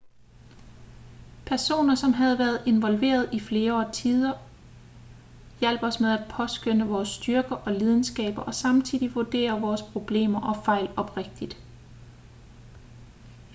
personer som havde været involveret i flere årtider hjalp os med at påskønne vores styrker og lidenskaber og samtidig vurdere vores problemer og fejl oprigtigt